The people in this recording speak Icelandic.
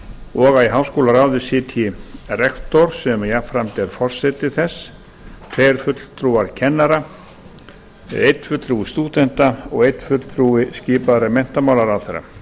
og í háskólaráði sitji rektor sem jafnframt er forseti þess tveir fulltrúar kennara einn fulltrúi stúdenta og einn fulltrúi skipaður af menntamálaráðherra